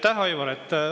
Aitäh, Aivar!